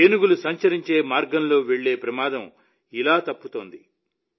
ఏనుగులు సంచరించే మార్గంలోకి వెళ్లే ప్రమాదం ఇలా తప్పుతోంది